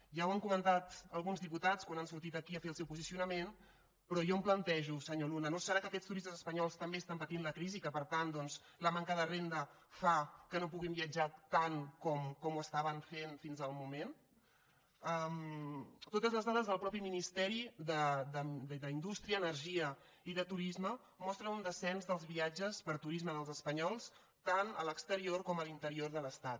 ja ho han comentat alguns diputats quan han sortit aquí a fer el seu posicionament però jo em plantejo senyor luna no deu ser que aquests turistes espanyols també estan patint la crisi i que per tant doncs la manca de renda fa que no puguin viatjar tant com ho estaven fent fins al moment totes les dades del mateix ministeri d’indústria energia i turisme mostren un descens dels viatges per turisme dels espanyols tant a l’exterior com a l’interior de l’estat